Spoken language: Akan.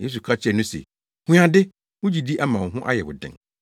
Yesu ka kyerɛɛ no se, “Hu ade, wo gyidi ama wo ho ayɛ wo den.”